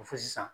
Ko fo sisan